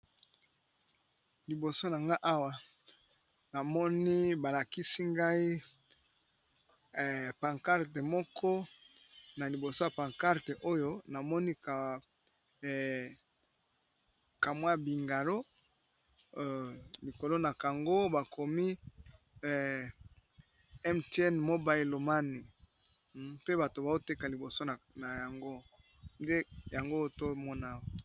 Liboso na nga awa namoni balakisi ngai pancarte moko na liboso ya pancarte oyo namoni kamwa bingalo likolo na kango bakomi m tin mo baelomani pe bato baoteka liboso nane yango otomonaho.